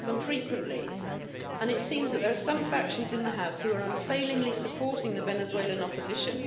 We have them frequently, and it seems that there are some factions in the House who are unfailingly supporting the Venezuelan opposition.